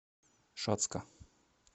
шацка